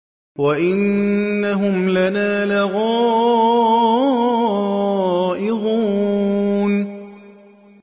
وَإِنَّهُمْ لَنَا لَغَائِظُونَ